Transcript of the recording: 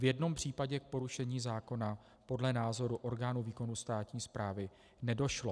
V jednom případě k porušení zákona podle názoru orgánu výkonu státní správy nedošlo.